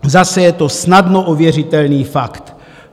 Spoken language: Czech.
Zase je to snadno ověřitelný fakt.